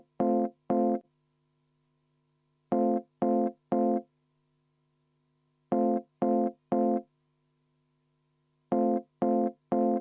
Võin ka veel kord vabandust paluda, kui see vajalik on.